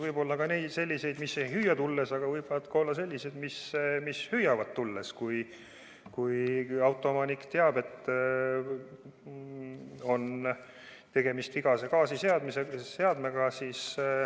Võib olla ka selliseid, mis ei hüüa tulles, aga võivad olla sellised, mis hüüavad tulles: kui autoomanik teab, et tema autol on vigane gaasiseade.